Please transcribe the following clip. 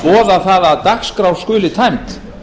að boða það að dagskrá skuli tæmd